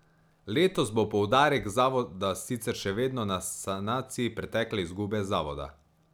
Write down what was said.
Letos bo poudarek zavoda sicer še vedno na sanaciji pretekle izgube zavoda.